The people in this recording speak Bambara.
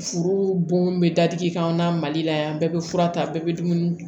Furu bon bɛ dadigi k'an na mali la yan bɛɛ bɛ fura ta bɛɛ bɛ dumuni